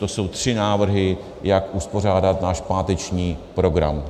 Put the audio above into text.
To jsou tři návrhy, jak uspořádat náš páteční program.